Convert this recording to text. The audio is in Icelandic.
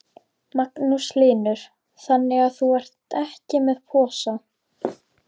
Magnús Hlynur: Þannig að þú ert ekki með posa?